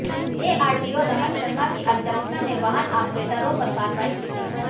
ARTO Raman Sharma की अध्यक्षता में वाहन आपरेटरों पर कार्रवाई की गई